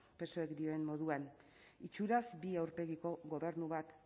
psoek dioen moduan itxuraz bi aurpegiko gobernu bat